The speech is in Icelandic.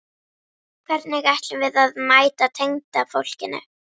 Hvernig ætlum við að mæta tengdafólkinu?